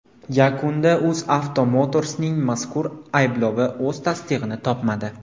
Yakunda UzAuto Motors’ning mazkur ayblovi o‘z tasdig‘ini topmadi .